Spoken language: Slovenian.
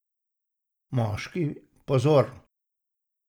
Moški, pozor!